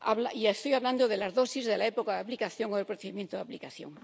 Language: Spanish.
y estoy hablando de las dosis, de la época de aplicación o del procedimiento de aplicación.